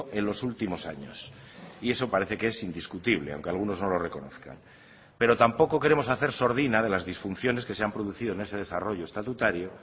en los últimos años y eso parece que es indiscutible aunque algunos no lo reconozcan pero tampoco queremos hacer sordina de las disfunciones que se han producido en ese desarrollo estatutario